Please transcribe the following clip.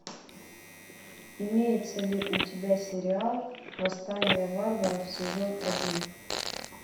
имеется ли у тебя сериал восстание варваров сезон один